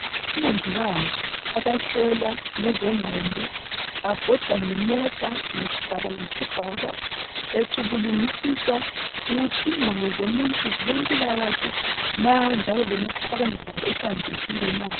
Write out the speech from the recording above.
Omongikazi abahlola ngezengqondo babhoda ngemota ngesigaba ngesigaba becubungulisisa ukuthi ingqondo zomuntu zilempilakahle na, njalo lemicabango yabo ihlanzekile na.